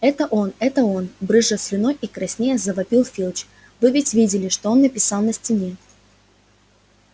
это он это он брызжа слюной и краснея завопил филч вы ведь видели что он написал на стене